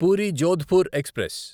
puri Jodhpur express